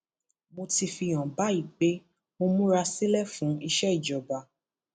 mo ti fi hàn báyìí pé mo múra sílẹ fún ìṣèjọba